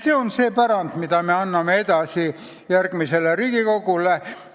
See on see pärand, mille me anname edasi järgmisele Riigikogule.